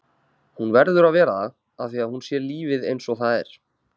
Hún verður að vera það afþvíað hún sér lífið einsog það er.